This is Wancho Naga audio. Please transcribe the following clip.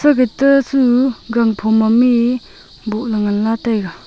gete su gang phom maam mi boh le ngan la taiga.